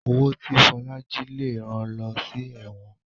Owó tí Fola jí lẹ rán ló sí èwòn